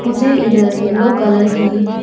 मुझे इधर yellow colour की--